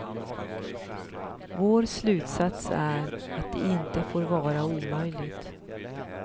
Vår slutsats är att det inte får vara omöjligt.